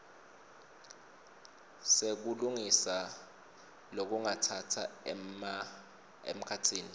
sekulungisa lokungatsatsa emkhatsini